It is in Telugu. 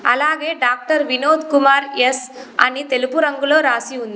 అలాగే డాక్టర్ వినోద్ కుమార్ ఎస్ అని తెలుపు రంగులో రాసి ఉంది.